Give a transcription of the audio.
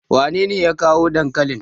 wanene ya kawo dankalin?